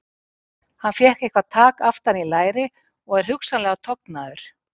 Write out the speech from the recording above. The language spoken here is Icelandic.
Hann fékk eitthvað tak aftan í læri og er hugsanlega tognaður.